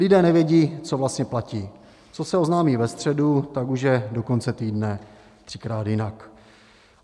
Lidé nevědí, co vlastně platí, co se oznámí ve středu, tak už je do konce týdne třikrát jinak.